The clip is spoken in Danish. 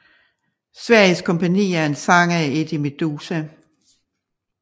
Sveriges Kompani er en sang af Eddie Meduza